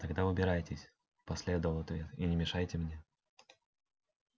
тогда убирайтесь последовал ответ и не мешайте мне